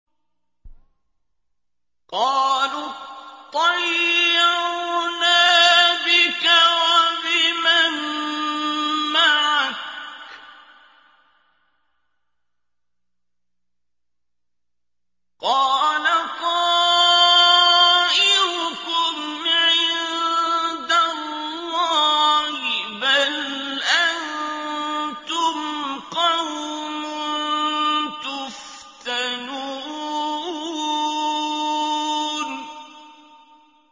قَالُوا اطَّيَّرْنَا بِكَ وَبِمَن مَّعَكَ ۚ قَالَ طَائِرُكُمْ عِندَ اللَّهِ ۖ بَلْ أَنتُمْ قَوْمٌ تُفْتَنُونَ